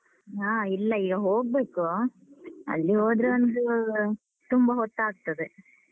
ಹ. ಇಲ್ಲ, ಈಗ ಹೋಗ್ಬೇಕು. ಅಲ್ಲಿ ಹೋದ್ರೆ ಒಂದೂ ತುಂಬ ಹೊತ್ತಾಗ್ತದೆ.